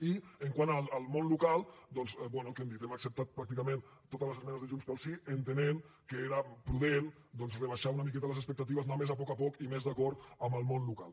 i quant al món local doncs bé el que hem dit hem acceptat pràcticament totes les esmenes de junts pel sí entenent que era prudent doncs rebaixar una miqueta les expectatives anar més a poc a poc i més d’acord amb el món local